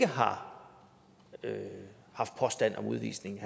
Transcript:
har været påstand om udvisning